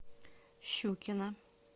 щукина